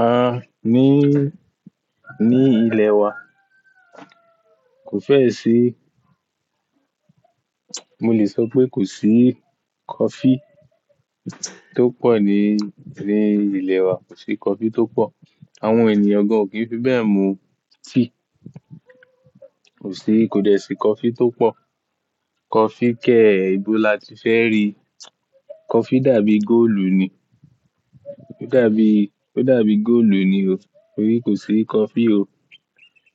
À, ní, ní ilẹ̀ wa kò fẹ́ si-- mo lè sọ pé kò sí coffee tó pọ̀ ní, ní ilẹ̀ wa. Kò sí coffee tó pọ̀. Àwọn ènìyàn gan ò kí ń fi bẹ́ẹ̀ mú tíì. Kò sí, kò dẹ́ sí coffee tó pọ̀. Coffee kẹ̀ẹ́ ibó láti fẹ́ rí? Coffee dàbí góòlù ni. Ó dàbí, ó dàbí góòlù ni o. Torí kò sí coffee o.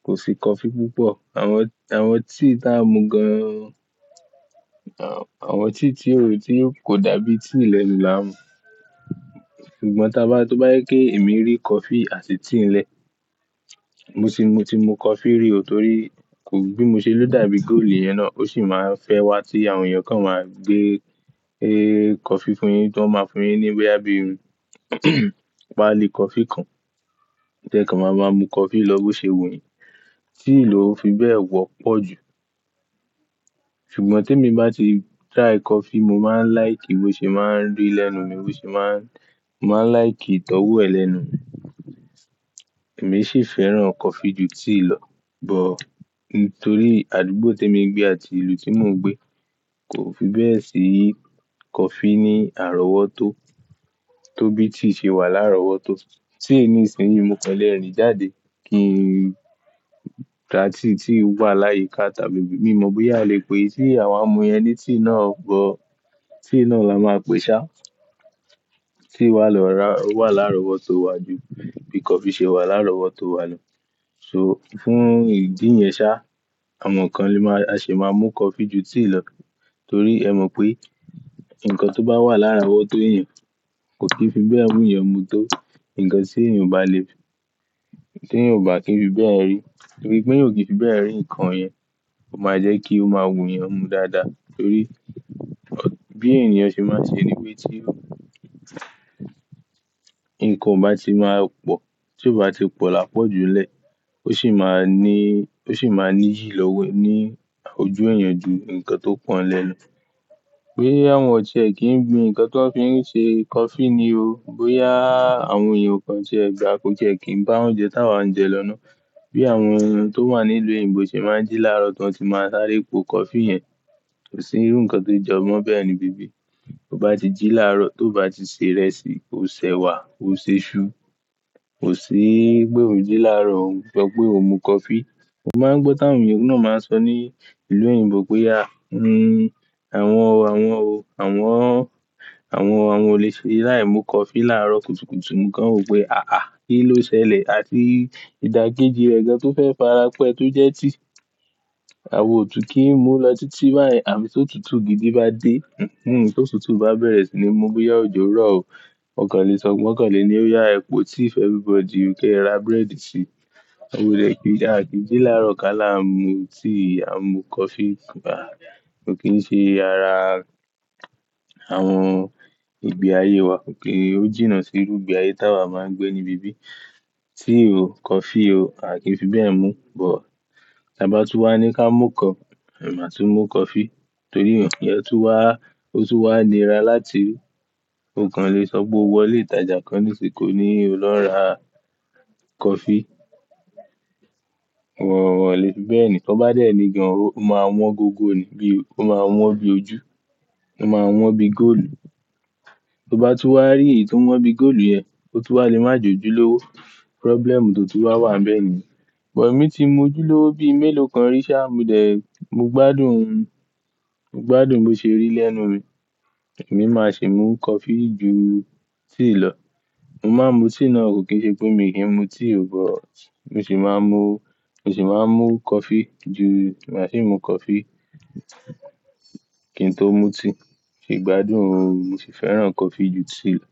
Kò sí coffee púpọ̀. Àwọn, àwọn tíì tá a ń mú gan o. Àwọn tíì tí ó tí kò dàbí tíì lẹ̀nu là ń mú. Ṣùgbọ́n tá bá, tó bá jẹ pé èmi rí coffee àti tíì n lẹ̀, mo ti, mo ti mu coffee rí o torí kò, bí mo ṣé ló dàbí góòlù yẹn náà. Ó ṣì máa ń fẹ́ wá tí àwọn èèyàn kan máa gbé, e coffee fún yín tó máa fún yín ní bòyá bí i páálí coffee kan. Ẹ jẹ́ ká máa máa mú coffee lọ́wọ́ ṣe wù yín. Tíì lọ fi bẹ́ẹ̀ wọ́pọ̀ jù. Ṣùgbọ́n tí èmi bá ti try coffee, mo máa ń like bó ṣe máa ń rí lẹ́nu mi, bó ṣe máa ń, mo máa ń like ìtọ́wò ẹ̀ lẹ́nu mi. Èmi sì fẹ́ràn coffee ju tíì lọ. Bọ̀, nítorí àdúgbò tí èmi ń gbé àti ìlú tí mo ń gbé kò fi bẹ́ẹ̀ sí coffee ní àrọ́wọ́tó tó bí tíì ṣe wà l'árọ̀wọ́tó. Tíì ní ìsinsìnyí mo kàn lé rìn jáde kí n ta tíì tí ń wà láyìí ká tàbí bí, bí mi mọ̀ bóyá a lè pè é tí àwa ń mu yẹn ní tíì náà bọ́. Tíì náà la máa pè ṣá. Tíì wa lọ́ra, o wà lárọ́wọ́tó wa ju bí coffee ṣe wà lárọ́wọ́tó wa lọ. So fún ìdí yẹn ṣá, àwọn kan lè máa, a ṣì máa mú coffee ju tíì lọ. Torí ẹ mọ̀ pé nǹkan tó bá wà lárọ́wọ́tó èèyàn kò kí fi bẹ́ẹ̀ wú ìyan mu tó nǹkan tí èèyàn bá le, tí èèyàn bá kí ń fi bẹ́ẹ̀ rí. Torí pé èèyàn o kì í fi bẹ́ẹ̀ rí nǹkan yẹn. Ó máa jẹ́ kí ó máa wù èèyàn mu dáadáa. Torí bí èèyàn ṣe máa ń ṣe ni pé tí nǹkan bá ti máa pọ̀, tí ó bá ti pọ̀ lápọ̀jùlẹ́, ó sì máa ní, ó sì máa níyì lọ́wọ́ ní ojú èèyàn ju nǹkan tó pọ̀ n lẹ́ lọ. Bóyá wọn tiẹ̀ kì í gbin nǹkan tó ń fi ṣe coffee ni o. Bóyá àwọn èèyàn o kàn tiẹ̀ gbà kó tiẹ̀ kì í bá oúnjẹ táa wa ń jẹ lọ́nà. Bí àwọn ohun tó wà nílùú òyìnbó ṣe máa ń jí lárọ̀ tó ti máa sáré po coffee yẹn. Kò sí irú nǹkan tó jọ mọ́ bẹ́ẹ̀ níbí. Tó bá ti jí lárọ̀, tó bá ti se ìrẹsì, ó sèwà, ó ṣe iṣu. Kò sí pé òun jí lárọ̀, òun sọ pé òun mu coffee. Mo máa ń gbọ́ táwọn èèyàn náà máa ń sọ ní ìlú òyìnbó pé a, mm, àwọn, àwọn o, àwọn, àwọn, àwọn olè ṣe láìmu coffee lárọ̀ kùtùkùtù, mo kàn wò pé àáa, kí ló ṣẹlẹ̀? Àti ìdákejì rẹ̀ gan tó fẹ́ farapẹ́ tó jẹ́ tíì àwa òtùn kì í mú lọ títí báyẹ̀n, àfí tó tutù gidi bá dé, tó tutù bá bẹ̀rẹ̀ sì ni mu bóyá òjò rọ̀ o. Mo kàn lè sọ, wọ̀n kàn lè ní ó yá ẹ po tea for everybody, o kẹ́ ra bread sì. A kò lè kí a kì í jí lárọ̀ ká là ń mu tíì, à ń mu coffee. À, a kì í ṣe ara àwọn ìgbé ayé wa. Kì í, ó jìnnà sí irú ìgbé ayé táa wa máa ń gbé níbí. Tíì o, coffee o, a kì í fi bẹ́ẹ̀ mu. Bọ̀ tí a bá tú wá ní ká mú kàn, ẹ̀ máa tú mú coffee. Torí iyẹn tún wá, ó tún wà nira láti òkan lè sọ pé o wọlé ìtajà kan nísìkò ní o lọ ra coffee. Ó wọ̀, ó wọ̀lẹ́. Bẹ́ẹ̀ ni, tó bá dẹ́ ni gan, ó máa wọ́n gogo ni bí i, ó máa wọ́n bí ojú. Ó máa wọ́n bí góòlù. Tó bá tú wá rí èyí tó ń wọ́n bí góòlù yẹn, ó tún wà lémájòjú lówó. Problem tó ti wá wà bẹ́ẹ̀ ni. Bọ̀ èmi ti mú ojúlówó bí i mélòó kan rí ṣá, mo dẹ̀, mo gbádùn ún. Mo gbádùn bó ṣe rí lẹ́nu mi. Èmi máa sì mú coffee ju tíì lọ. Mo máa ń mu tíì náà kò kí ṣe pé mi kì í mu tíì o. Bọ̀ mo sì máa ń mu, mo sì máa ń mu coffee ju, màá sì ń mu coffee kí n tó mu tíì. Mo sì gbádùn ún. Mo sì fẹ́ràn coffee ju tíì lọ.